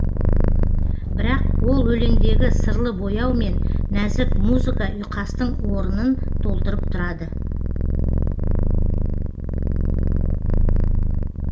бірақ ол өлеңдегі сырлы бояу мен нәзік музыка ұйқастың орнын толтырып тұрады